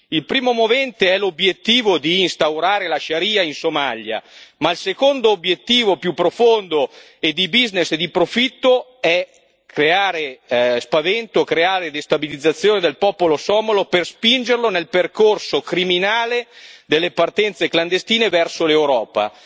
Il primo movente è l'obiettivo di instaurare la Sharia in Somalia, ma il secondo obiettivo, più profondo e di business e di profitto, è creare spavento, creare destabilizzazione del popolo somalo per spingerlo nel percorso criminale delle partenze clandestine verso l'Europa.